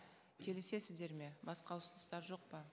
келісесіздер ме басқа ұсыныстар жоқ па